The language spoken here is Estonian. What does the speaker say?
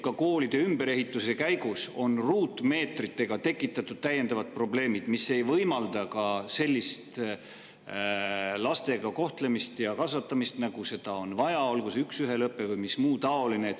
Ka koolide ümberehitamise käigus on tekkinud täiendavad probleemid, sest ruutmeetrite arv ei võimalda sellist laste kohtlemist ja kasvatamist, nagu seda vaja on, olgu see üks ühele õpe või muu taoline.